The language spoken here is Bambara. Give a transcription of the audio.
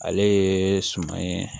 Ale ye suman ye